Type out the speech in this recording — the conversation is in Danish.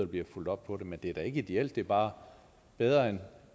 bliver fulgt op på det men det er da ikke ideelt det er bare bedre